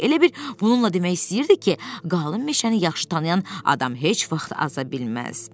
Elə bil bununla demək istəyirdi ki, qalın meşəni yaxşı tanıyan adam heç vaxt aza bilməz.